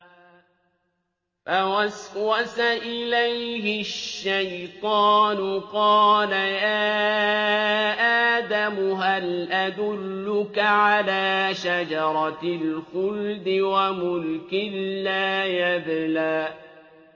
فَوَسْوَسَ إِلَيْهِ الشَّيْطَانُ قَالَ يَا آدَمُ هَلْ أَدُلُّكَ عَلَىٰ شَجَرَةِ الْخُلْدِ وَمُلْكٍ لَّا يَبْلَىٰ